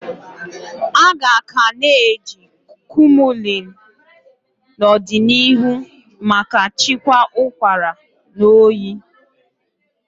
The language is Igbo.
Aga ka na eji Kumullin n'odinihu maka chịkwaa ụkwara na oyi.